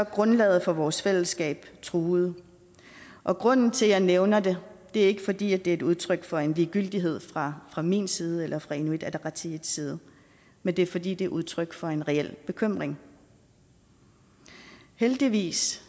grundlaget for vores fællesskab truet og grunden til at jeg nævner det er ikke fordi det er udtryk for en ligegyldighed fra fra min side eller fra inuit ataqatigiits side men det er fordi det er udtryk for en reel bekymring heldigvis